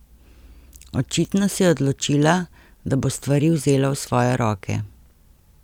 Očitno se je odločila, da bo stvari vzela v svoje roke.